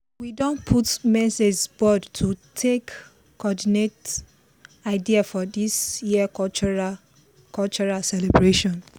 we don put message board to take coordinate idea for this year cultural cultural celebration